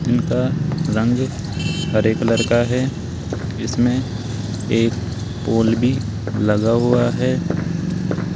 इनका रंग हरे कलर का है इसमें एक पोल भी लगा हुआ है।